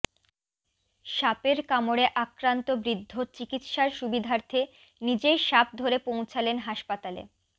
সাপের কামড়ে আক্রান্ত বৃদ্ধ চিকিৎসার সুবিধার্থে নিজেই সাপ ধরে পৌঁছালেন হাসপাতালে